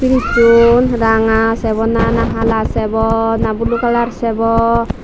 frizzun ranga sebo na hala sebo na blue kalar sebo.